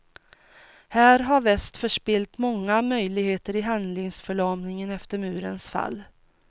Här har väst förspillt många möjligheter i handlingsförlamningen efter murens fall.